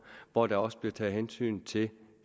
hvor der også bliver taget hensyn til